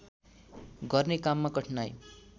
गर्ने काममा कठिनाइ